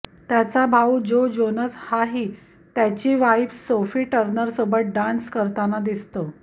त्याचा भाऊ जो जोनास हाही त्याची वाईफ सोफी टर्नरसोबत डान्स करताना दिसतो